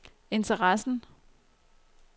interessen